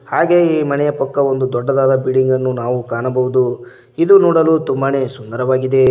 ಹಾಗೆ ಈ ಮನೆಯ ಪಕ್ಕ ಒಂದು ದೊಡ್ಡದಾದ ಬಿಲ್ಡಿಂಗ್ ಅನ್ನು ನಾವು ಕಾಣಬಹುದು ಇದು ನೋಡಲು ತುಂಬಾನೆ ಸುಂದರವಾಗಿದೆ.